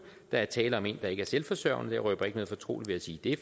der er tale om en der ikke er selvforsørgende jeg røber ikke noget fortroligt ved at sige det